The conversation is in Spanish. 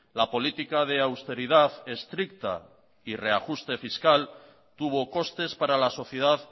la política de austeridad estricta y reajuste fiscal tuvo costes para la sociedad